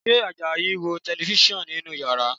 Ṣé Àjàyí ń wo Tẹlifísàn nínú yàrá?